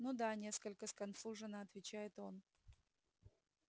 ну да несколько сконфуженно отвечает он